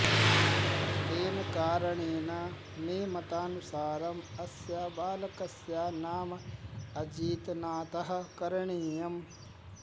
तेन कारणेन मे मतानुसारम् अस्य बालकस्य नाम अजितनाथः करणीयम्